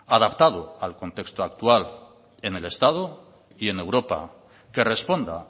adaptado al contexto actual en el estado y en europa que responda